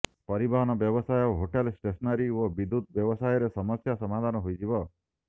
ପରିବହନ ବ୍ୟବସାୟ hotel stationery ଓ ବିଦ୍ୟୁତ୍ ବ୍ୟବସାୟରେ ସମସ୍ୟା ସମାଧାନ ହୋଇଯିବ